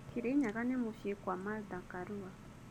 Kirinyaga nĩ mũciĩ kwa Martha Karua.